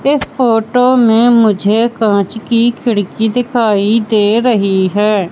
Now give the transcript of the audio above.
इस फोटो में मुझे कांच की खिड़की दिखाई दे रही है।